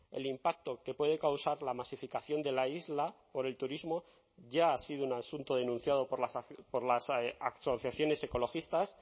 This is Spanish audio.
el impacto que puede causar la masificación de la isla por el turismo ya ha sido un asunto denunciado por las asociaciones ecologistas